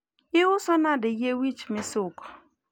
iuso nade yie wich misuko